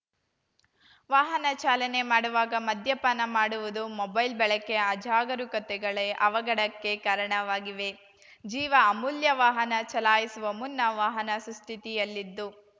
ವಾಹನ ಚಾಲನೆ ಮಾಡುವಾಗ ಮಧ್ಯಪಾನ ಮಾಡುವುದು ಮೊಬೈಲ್‌ ಬಳಕೆ ಅಜಾಗರೂಕತೆಗಳೆ ಅವಘಡಕ್ಕೆ ಕಾರಣವಾಗಿವೆ ಜೀವ ಅಮೂಲ್ಯ ವಾಹನ ಚಲಾಯಿಸುವ ಮುನ್ನ ವಾಹನ ಸುಸ್ಥಿತಿಯಲ್ಲಿದ್ದು